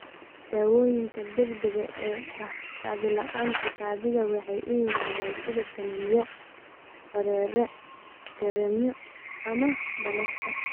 Daawooyinka degdega ah kaadi-la'aanta kaadida waxay u yimaadaan sida kaniiniyo, dareere, kareemyo, ama balastar.